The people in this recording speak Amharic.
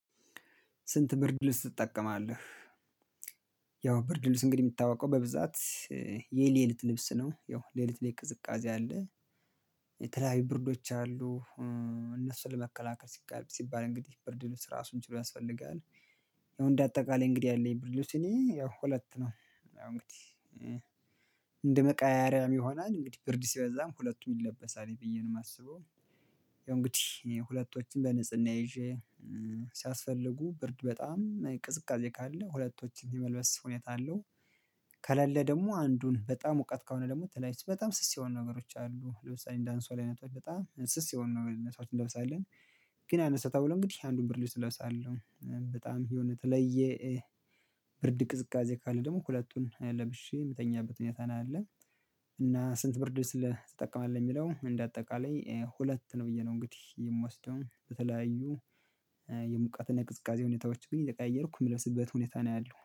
ስንት ብርድ ልብስ ትጠቀማለህ? ያው ብርድ ልብስ እንግዲህ የሚታወቀው በብዛት የሌሊት ልብስ ነው። ያው ሌሊት ላይ ቅዝቃዜ አለ። የተለያዩ ብርዶች አሉ። እነሱን ለመከላከል ሲባል ሲባል እንግዲህ ብርድ ራሱን ችሎ ያስፈልጋል። ያው እንደ አጠቃላይ እንግዲህ ያለኝ ብርድ እኔ ያው ሁለት ነው። ያው እንግዲህ እንደመቀያያሪያም ይሆናል እንግዲህ ብርድ ሲበዛም ሁለቱም ይለበሳል ብዬ ነው የማስበው። ያው እንግዲህ ሁለቶችን በንጽህና ይዤ ሲያስፈልጉ ብርድ በጣም ቅዝቃዜ ካለ ሁለቶችን የመልበስ ሁኔታ አለው። ከሌለ ደግሞ አንዱን በጣም እውቀት ከሆነ ደግሞ በጣም ስስ የሆኑ ነገሮች አሉ ለምሳሌ እንደ አንሶላ አይነት በጣም ስስ የሆኑ ነገር ነገሮችን እንለብሳለን። ግን ያነሳታል ብሎ እንግዲህ አንዱን ብርድ ልብስ እለብሳለሁ። በጣም የሆነ ተለየ ብርድ ቅዝቃዜ ካለ ደግሞ ሁለቱን ለብሼ መተኛበት ሁኔታ ነው ያለ። እና ስንት ብርድ ትጠቀማለህ የሚለው እንደ አጠቃላይ ሁለት ነው ብዬ ነው። እንግዲህ የምወስደው በተለያዩ የሙቃትን የቅዝቃዜ ሁኔታዎች ግን እየቀየርኩ የምለብስበት ሁኔታ ነው ያለሁ